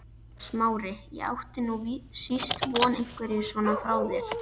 Smári, ég átti nú síst von einhverju svona frá þér!